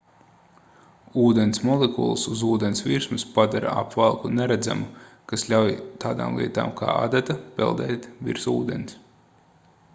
ūdens molekulas uz ūdens virsmas padara apvalku neredzamu kas ļauj tādām lietām kā adata peldēt virs ūdens